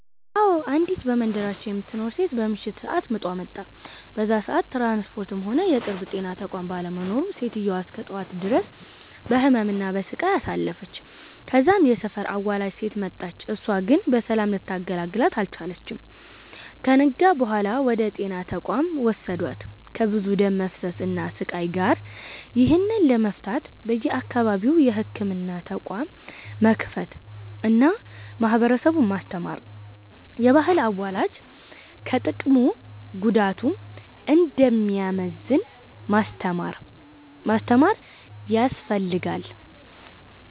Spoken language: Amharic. አዎ፤ አንዲት በመንደራችን የምትኖር ሴት በምሽት ሰአት ምጧ መጣ። በዛ ሰአት ትራንስፖርትም ሆነ የቅርብ የጤና ተቋም ባለመኖሩ ሴትዮዋ እስከ ጠዋት ድረስ በህመም እና በሰቃይ አሳልፍለች። ከዛም የሰፈር አዋላጅ ሴት መጣች እሳም ግን በሰላም ልታገላግላት አልቻለችም። ከነጋ በኋላ ወደ ጤና ተቋም ወሰዷት ከብዙ ደም መፍሰስ እና ስቃይ ጋር። ይህንን ለመፍታት በየአካባቢው የህክምና ተቋም መክፈት አና ማህበረሰቡን ማስተማር፤ የባህል አዋላጅ ከጥቅሙ ጉዳቱ እንደሚያመዝን ማስተማር ያስፈልጋል።